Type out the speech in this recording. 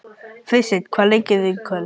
Friðsteinn, hvaða leikir eru í kvöld?